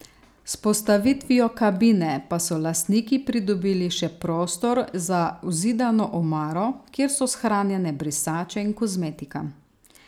S postavitvijo kabine pa so lastniki pridobili še prostor za vzidano omaro, kjer so shranjene brisače in kozmetika.